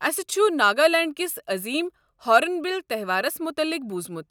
اسہِ چھُ ناگالینڈ کِس عظیٖم ہارٕن بِل تہوارَس متعلِق بوٗزمُت۔